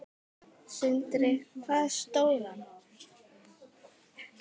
Sindri: Hvað stóran?